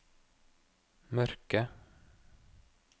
mørke